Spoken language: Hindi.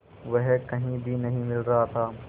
वह कहीं भी नहीं मिल रहा था